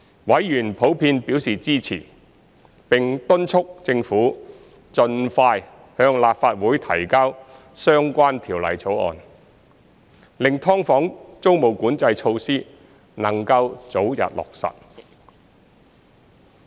委員普遍表示支持，並敦促政府盡快向立法會提交相關條例草案，令"劏房"租務管制措施能早日落實。